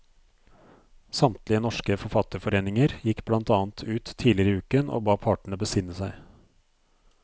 Samtlige norske forfatterforeninger gikk blant annet ut tidligere i uken og ba partene besinne seg.